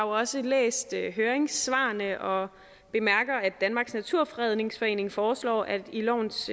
også læst høringssvarene og bemærker at danmarks naturfredningsforening foreslår at det i lovens